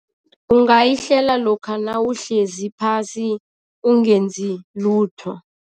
Ungayihlela lokha nawuhlezi phasi ungenzi lutho.